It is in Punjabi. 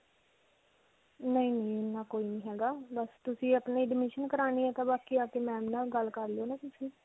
ਨਹੀਂ, ਨਹੀਂ ਇੰਨਾ ਕੋਈ ਨਹੀਂ ਹੈਗਾ. ਬਸ ਤੁਸੀਂ ਅਪਨੀ admission ਕਰਵਾਉਣੀ ਹੈ. ਬਾਕੀ ਆ ਕੇ ma'am ਨਾਲ ਗੱਲ ਕਰ ਲਿਓ ਨਾ ਤੁਸੀਂ.